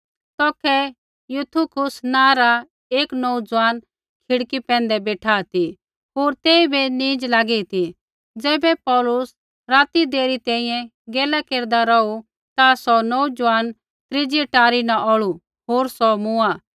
तौखै युतुखुस नाँ रा एक नोऊज़ुआन खिड़की पैंधै बेठा ती होर तेइबै नींज़ लागी ती ज़ैबै पौलुस राती देरी तैंईंयैं गैला केरदा रौहू ता सौ नोऊज़ुआन त्रीजी अटारी न औल़ू होर सौ मूँआ